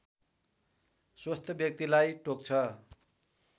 स्वस्थ व्यक्तिलाई टोक्छ